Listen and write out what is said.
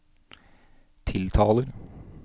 tiltaler